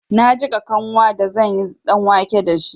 Na jiƙa kanwa da zanyi ɗanwake dashi.